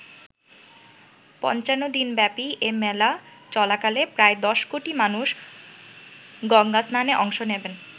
৫৫ দিন ব্যাপী এ মেলা চলাকালে প্রায় ১০ কোটি মানুষ গঙ্গাস্নানে অংশ নেবেন।